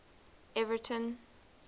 everton